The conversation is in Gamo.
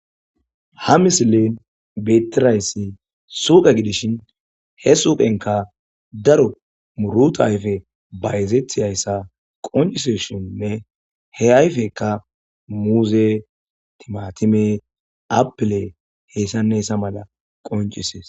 Ha misilin betirayssi suuqe gidishin he suuqenka daro muruta ayfe bayzeethiyayssa qonciseshinne he ayfekka muuze, timatime, apile heessanessa mala qoncisees.